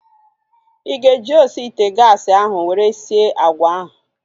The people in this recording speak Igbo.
Ị ga-eji osi ite gaasi ahu were sie agwa ahu?